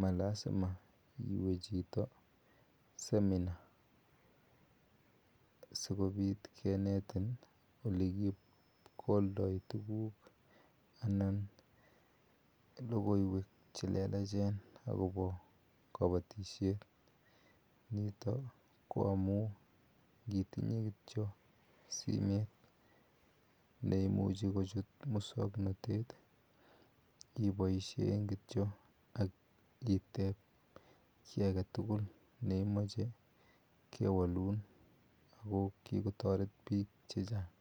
ma lasima iwe chito seminar asikopit kinetin ole kikoldai tuguk anan logoiwek che llelachen akopa kapatishet nito ko amu ngitinye kityo simet ne imuchi kochut muswoknotete ipaishe kityo ak itep ki age tugul ne imache kwalun ako kikotaret piik che chang'